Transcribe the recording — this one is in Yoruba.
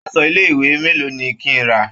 Aṣọ ilé-ìwé mélòó ni kí n rà?